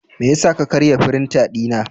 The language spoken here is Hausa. Me yasa ka karya firinta dina?